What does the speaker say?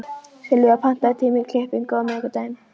Sylvía, pantaðu tíma í klippingu á miðvikudaginn.